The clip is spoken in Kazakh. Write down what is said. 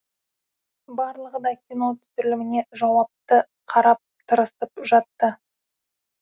барлығы да кино түсіріліміне жауапты қарап тырысып жатты